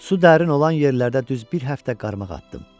Su dərin olan yerlərdə düz bir həftə qarmaq atdım.